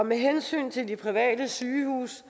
med hensyn til de private sygehuse